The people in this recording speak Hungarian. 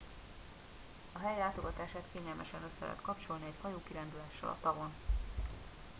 a hely látogatását kényelmesen össze lehet kapcsolni egy hajókirándulással a tavon